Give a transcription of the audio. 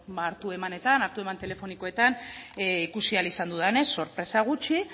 hartu emanetan hartu eman telefonikoetan ikusi ahal izan dudanez sorpresa gutxi